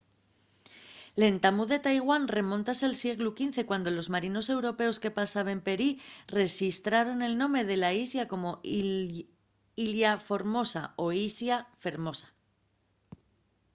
l’entamu de taiwán remóntase al sieglu xv cuando los marinos europeos que pasaben per ehí rexistraron el nome de la islla como ilha formosa o islla fermosa